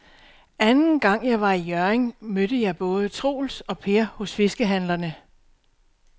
Anden gang jeg var i Hjørring, mødte jeg både Troels og Per hos fiskehandlerne.